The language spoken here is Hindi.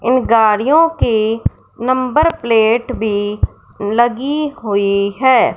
ये गाड़ियों की नंबर प्लेट भी लगी हुई है।